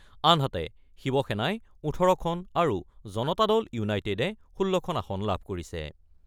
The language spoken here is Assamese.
আনহাতে, শিৱসেনাই ১৮খন আৰু জনতা দল ইউনাইটেডে ১৬খন আসন লাভ কৰিছে।